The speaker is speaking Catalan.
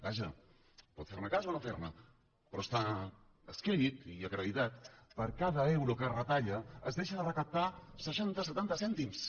vaja pot fer ne cas o no fer ne però està escrit i acreditat per cada euro que es retalla es deixen de recaptar seixanta setanta cèntims